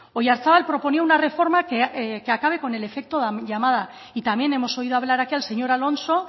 oyarzábal proponía una reforma que acabe con el efecto llamada y también hemos oído hablar aquí al señor alonso